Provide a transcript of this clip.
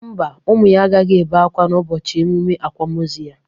Mba, ụmụ ya agaghị ebe ákwá n'ụbọchị emụme akwamoozu ya.